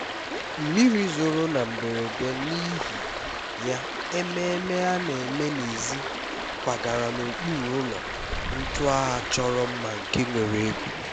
mmiri zoro na mberede n'ihi ya ememe a na-eme n'èzí kwagara n'okpuru ụlọ ntu a chọrọ mma nke nwere egwu